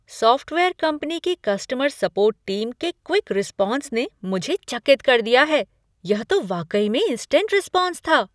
Software company की customer support team के quick response ने मुझे चकित कर दिया है। यह तो वाकई में इन्सटेंट रेस्पॉन्स था!